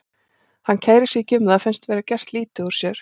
Hann kærir sig ekki um það, finnst þá vera gert lítið úr sér.